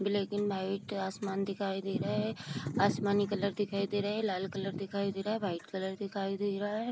Black and white आसमान दिखाई दे रहा है आसमानी कलर दिखाई दे रहा है लाल कलर दिखाई दे रहा है वाइट कलर दिखाई दे रहा है।